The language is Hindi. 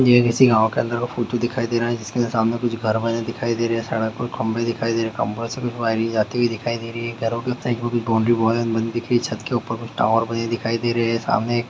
ये किसी गाँव के अंदर का फोटो दिखाई दे रहा है जिसके सामने कुछ घर बने दिखाइ दे रहे है सड़क और खम्बे दिखाई दे रहे है जाती हुई दिखाई दे रही है छत्त के ऊपर कुछ टावर बने दिखाई दे रहे है सामने एक--